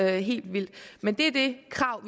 helt vildt men det er det krav